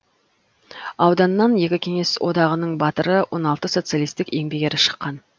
ауданнан екі кеңес одағының батыры он алты социалистік еңбек ері шыққан